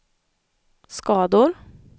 skador